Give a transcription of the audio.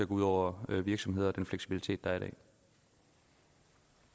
ud over virksomhederne og den fleksibilitet der